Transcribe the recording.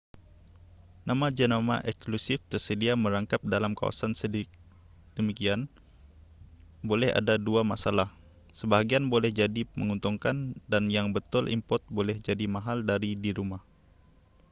nama-jenama eksklusif tersedia merangkap dalam kawasan sedemikian boleh ada dua masalah sebahagian boleh jadi menguntungkan dan yang betul import boleh jadi mahal dari di rumah